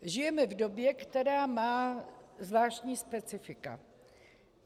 Žijeme v době, která má zvláštní specifika.